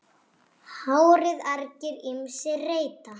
HÁRIÐ argir ýmsir reyta.